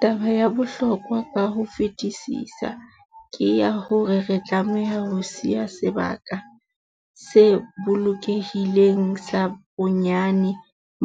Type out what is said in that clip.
Taba ya bohlokwa ka ho fetisisa ke ya hore re tlameha ho siya sebaka se bolokehileng sa bonyane